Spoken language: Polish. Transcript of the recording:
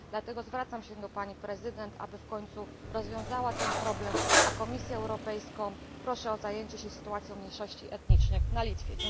Dlatego zwracam się do Pani Prezydent, aby w końcu rozwiązała ten problem, a Komisję Europejską proszę o zajęcie się sytuacją mniejszości etnicznych na Litwie.